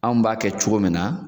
Anw b'a kɛ cogo min na